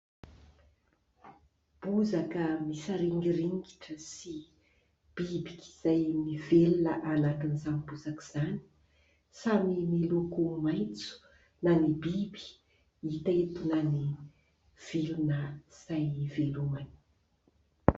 Bozaka misaringiringy sy biby izay mivelona anatin'izany bozaka izany. Samy miloko maitso na ny biby hita eto na vilona izay ivelomany.